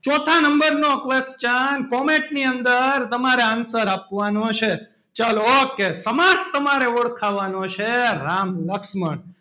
ચોથા number નો question comment ની અંદર તમારે answer આપવાનો છે ચલો okay સમાસ તમારે ઓળખાવાનો છે. રામ લક્ષ્મણ,